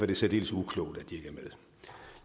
det særdeles uklogt at